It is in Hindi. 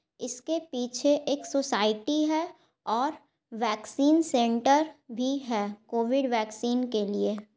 इसके पीछे एक सोसायटी हे और वैक्सीन सेंटर भी है कोविड वैक्सीन के लिए ।